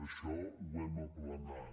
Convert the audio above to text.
això ho hem aplanat